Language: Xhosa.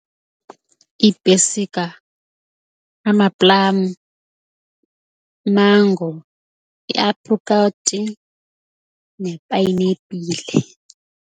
Iipesika amaplamu, imango, iaprikoti nepayinapile.